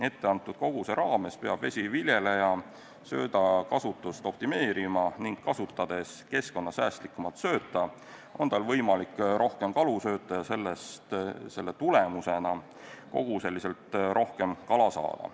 Etteantud koguse raames peab vesiviljeleja söödakasutust optimeerima ning kasutades keskkonnasäästlikumat sööta, on tal võimalik rohkem kalu sööta ja selle tulemusena koguseliselt rohkem kala saada.